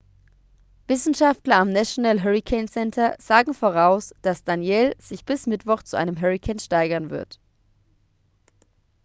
wissenschaftler am national hurricane center sagen voraus dass danielle sich bis mittwoch zu einem hurrikan steigern wird